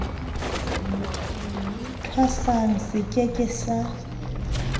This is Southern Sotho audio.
thwasang se ke ke sa